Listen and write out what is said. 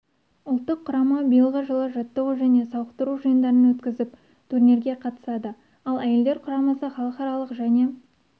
ұлттық құрама биылғы жылы жаттығу және сауықтыру жиындарын өткізіп турнирге қатысады ал әйелдер құрамасы халықаралық және